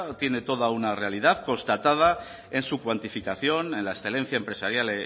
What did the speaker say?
tiene toda una realidad constatada en su cuantificación en la excelencia empresarial